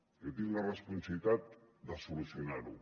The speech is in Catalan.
jo tinc la responsabilitat de solucionar ho